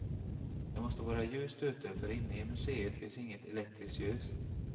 Det måste vara ljust ute, för inne i museet finns inget elektriskt ljus.